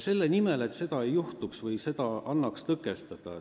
Et seda annaks tõkestada, ma selle palve esitasingi.